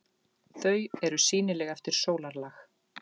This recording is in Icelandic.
Þau eru sýnileg eftir sólarlag.